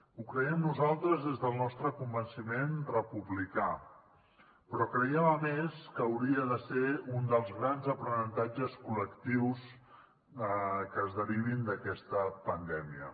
ho creiem nosaltres des del nostre convenciment republicà però creiem a més que hauria de ser un dels grans aprenentatges col·lectius que es derivin d’aquesta pandèmia